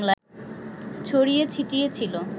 ছড়িয়ে ছিটিয়ে ছিল